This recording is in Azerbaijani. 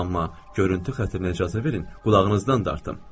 Amma görüntü xətrinə icazə verin qulağınızdan dartım.